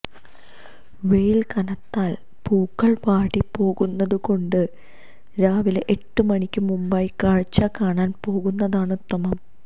വെയില് കനത്താല് പൂക്കള് വാടിപ്പോകുന്നതുകൊണ്ട് രാവിലെ എട്ട് മണിക്ക് മുന്പായി കാഴ്ച കാണാന് പോകുന്നതാണ് ഉത്തമം